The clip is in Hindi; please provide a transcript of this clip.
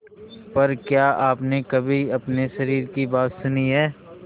पर क्या आपने कभी अपने शरीर की बात सुनी है